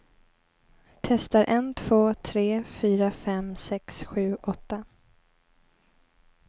Testar en två tre fyra fem sex sju åtta.